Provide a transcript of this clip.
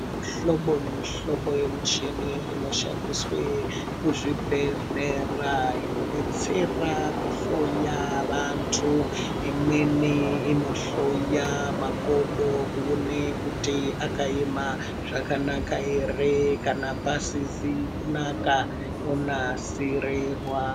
Mu hlobo ne mu hlobo ye muchini ino shandiswe ku zvibhedhlera ino detsera ku hloya vantu imweni ino hloya makodo kuone kuti aka ema zvakanaka ere kana asizi kunaka onasirirwa.